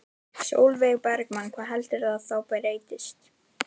Sólveig Bergmann: Hvað heldurðu þá að breytist?